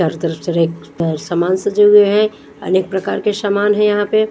चारो तरफ से सामान साजे हुए है अनेक प्रकार के सामान है यहां पे।